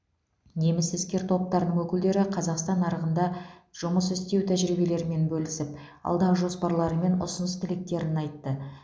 неміс іскер топтарының өкілдері қазақстан нарығында жұмыс істеу тәжірибелерімен бөлісіп алдағы жоспарлары мен ұсыныс тілектерін айтты